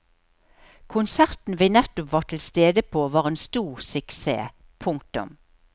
Konserten vi nettopp var til stede på var en stor suksess. punktum